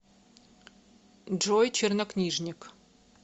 джой чернокнижник